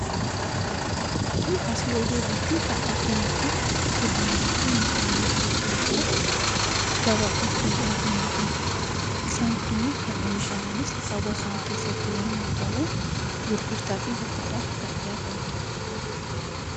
Fakkii asii oliirratti kan arginu kun kuduraalee fi muduraalee adda addaa gabaadhaaf kan dhiyaatanidha. Isaan kunniin kan oomishamanis hawaasuma keessatti yommuu ta'u, gurgurtaa fi bittaadhaaf kan dhiyaatanidha.